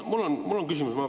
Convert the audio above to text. Mul on selline küsimus.